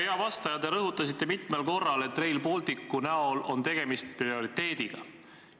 Hea vastaja, te rõhutasite mitmel korral, et Rail Balticu näol on tegemist prioriteediga.